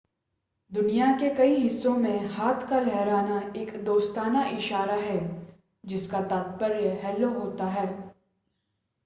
दुनिया के कई हिस्सों में हाथ का लहराना एक दोस्ताना इशारा है जिसका तात्पर्य हेल्लो होता है